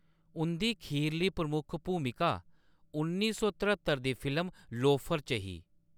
उंʼदी खीरली प्रमुख भूमिका उन्नी सौ तहरत्तर दी फिल्म लोफर च ही।